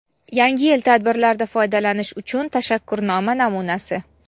Yangi yil tadbirlarida foydalanish uchun tashakkurnoma namunasi.